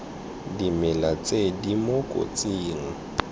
dimela tse di mo kotsing